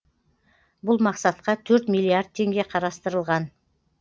бұл мақсатқа төрт миллиард теңге қарастырылған